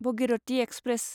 Bhagirathi express